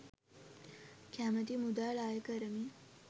කැමති මුදල් අය කරමින්